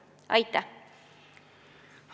Aitäh!